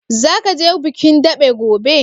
Zaka je bikin daɓe gobe?